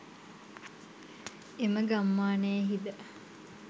එම ගම්මානයෙහි ද